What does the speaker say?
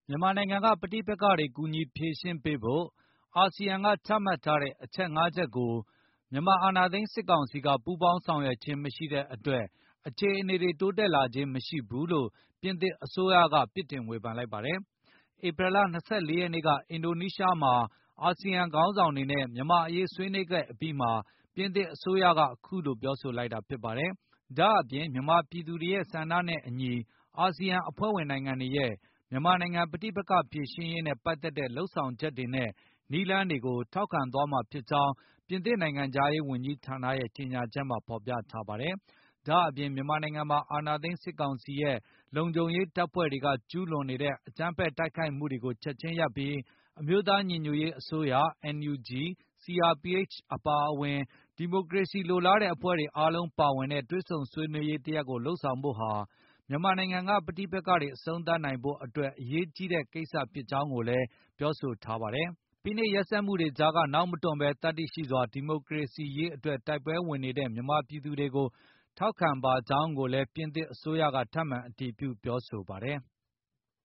မြန်မာနိုင်ငံက ပဋိပက္ခတွေ ကူညီဖြေရှင်းပေးဖို့ ASEAN ကချမှတ်ထားတဲ့ အချက် ၅ ချက် ကို မြန်မာ အာဏာသိမ်း စစ်ကောင်စီက ပူးပေါင်းဆောင်ရွက်ခြင်း မရှိတဲ့အတွက် အခြေ အနေတွေ တိုးတက်လာခြင်း မရှိဘူးလို့ ပြင်သစ် အစိုးရက ပြစ်တင်ဝေဖန်လိုက်ပါတယ်။ ဧပြီလ ၂၄ ရက်နေ့က အင်ဒိုနီးရှားမှာ အာဆီယံ ခေါင်းဆောင်တွေနဲ့ မြန်မာ့အရေး ဆွေး နွေးခဲ့အပြီးမှာ ပြင်သစ်အစိုးရက အခုလို ပြောဆိုလိုက်တာ ဖြစ်ပါတယ်။ ဒါ့အပြင် မြန်မာ ပြည်သူတွေရဲ့ ဆန္ဒနဲ့အညီ အာဆီယံ အဖွဲ့ဝင်နိုင်ငံတွေရဲ့ မြန်မာနိုင်ငံ ပဋိပက ္ခဖြေရှင်းရေးနဲ့ ပတ်သက်တဲ့ လုပ်ဆောင်ချက်တွေနဲ့ နည်းလမ်းတွေကို ထောက်ခံသွားမှာဖြစ်ကြောင်း ပြင်သစ်နိုင်ငံခြားရေးဝန်ကြီးဌာနရဲ့ ကြေညာချက်မှာ ဖေါ်ပြထားပါတယ်။ ဒါ့အပြင် မြန်မာနိုင်ငံမှာ အာဏာသိမ်းစစ်ကောင်စီရဲ့ လုံခြုံရေး တပ်ဖွဲ့တွေက ကျူးလွန် နေတဲ့ အကြမ်းဖက် တိုက်ခိုက်မှုတွေကို ချက်ချင်း ရပ်ဆိုင်းပြီး အမျိုးသားညီညွတ်ရေး အစိုးရ NUG ၊ CRPH အပါ၊ ဒီမိုကရေစီလိုလားတဲ့ အဖွဲ့တွေ အားလုံးပါဝင်တဲ့ တွေ့ဆုံ ဆွေးနွေးရေး တရပ် လုပ်ဆောင်ဖို့ဟာ မြန်မာနိုင်ငံက ပဋိပက္ခတွေ အဆုံးသတ်နိုင်ဖို့ အတွက်အရေးကြီးတဲ့ ကိစ္စဖြစ်ကြောင်းကိုလည်း ပြောဆိုထားပါတယ်။ ဖိနှိပ်ရက်စက်မှုတွေကြားက နောက်မတွန့်ဘဲ သတ္တိရှိစွာ ဒီမိုကရေစီ ရေးအတွက်တိုက်ပွဲဝင်နေတဲ့ မြန်မာပြည်သူတွေကို ထောက်ခံပါကြောင်းကိုလည်း ပြင်သစ်အစိုးရက ထပ်မံ အတည်ပြုပြောဆိုပါတယ်။